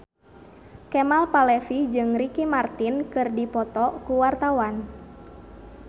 Kemal Palevi jeung Ricky Martin keur dipoto ku wartawan